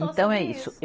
Então é isso.